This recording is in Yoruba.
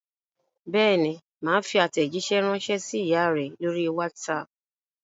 Bẹ́ẹ̀ ni, mà á fi àtẹ̀jíṣẹ́ ránṣẹ́ sí ìyá rẹ lórí WhatsApp.